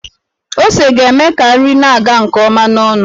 Ose ga-eme ka nri na-aga nke ọma n'ọnụ.